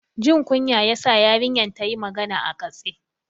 Jin kunya ya sa yarinyar ta yi magana a katse.